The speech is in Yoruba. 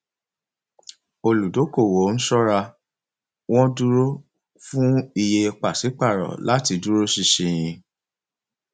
olùdókòwò ń sọra wọn dúró fún iye pàṣípàrọ láti dúró ṣinṣin